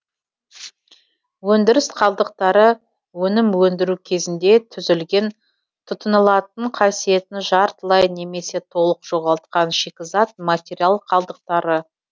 өндіріс қалдықтары өнім өндіру кезінде түзілген тұтынылатын қасиетін жартылай немесе толык жоғалтқан шикізат материал қалдықтары